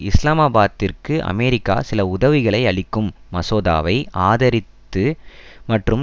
இஸ்லாமாபாத்திற்கு America சில உதவிகளை அளிக்கும் மசோதாவை ஆதரித்து மற்றும்